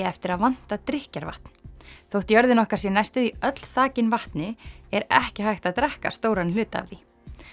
eftir að vanta drykkjarvatn þótt jörðin okkar sé næstum því öll þakin vatni er ekki hægt að drekka stóran hluta af því